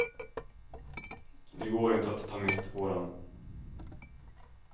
Det går inte att ta miste på den.